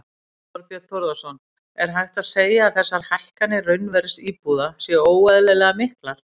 Þorbjörn Þórðarson: Er hægt að segja að þessar hækkanir raunverðs íbúða séu óeðlilega miklar?